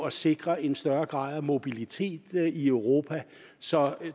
at sikre en større grad af mobilitet i europa så